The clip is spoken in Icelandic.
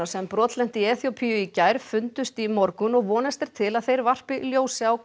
sem brotlenti í Eþíópíu í gær fundust í morgun og vonast er til að þeir varpi ljósi á